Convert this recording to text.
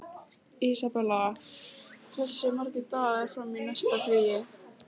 Isabella, hversu margir dagar fram að næsta fríi?